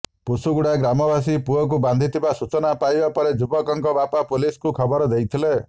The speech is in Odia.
ପୁଷୁଗୁଡା ଗ୍ରାମବାସୀ ପୁଅକୁ ବାନ୍ଧିଥିବା ସୂଚନା ପାଇବା ପରେ ଯୁବକଙ୍କ ବାପା ପୁଲିସକୁ ଖବର ଦେଇଥିଲେ